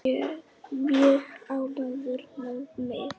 Mjög ánægður með mig.